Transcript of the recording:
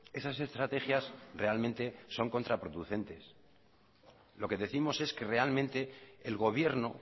esas estrategias realmente son contraproducentes lo que décimos es que realmente el gobierno